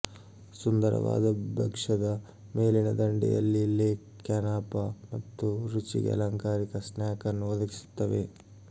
ಸುಂದರವಾದ ಭಕ್ಷ್ಯದ ಮೇಲಿನ ದಂಡೆಯಲ್ಲಿ ಲೇ ಕ್ಯಾನಾಪ ಮತ್ತು ರುಚಿಗೆ ಅಲಂಕಾರಿಕ ಸ್ನ್ಯಾಕ್ ಅನ್ನು ಒದಗಿಸುತ್ತವೆ